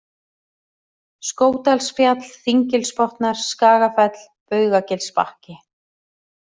Skógdalsfjall, Þinggilsbotnar, Skagafell, Baugagilsbakki